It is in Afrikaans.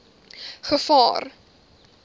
gevaar